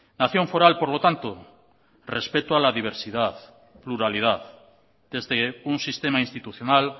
nación foral por lo tanto respeto a la diversidad pluralidad desde un sistema institucional